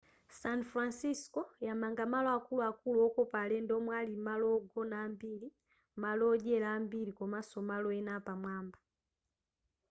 san francisco yamanga malo akuluakulu okopa alendo omwe ali malo ogona ambiri malo odyera ambiri komaso malo ena apamwamba